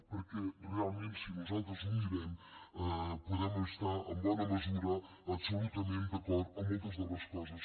perquè realment si nosaltres ho mirem podem estar en bona mesura absolutament d’acord amb moltes de les coses